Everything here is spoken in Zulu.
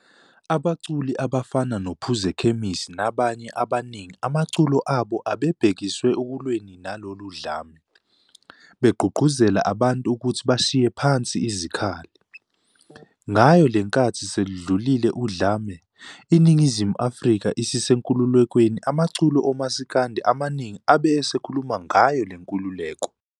Abaculi abafana noPhuzekhemisi nabanye abaningi amaculo abo abe ebehekise ekulweni nalolu dlame, beqgugquzela abantu ukuthi abashiye phansi izikhali. Ngayo lenkathi seludlulile udlame, iNingizimu Afrika isisenkululekweni amaculo omasikandi amaningi abe esekhuluma ngayo lenkululeko.